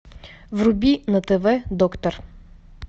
вруби на тв доктор